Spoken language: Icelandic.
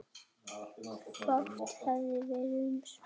Fátt hefði verið um svör.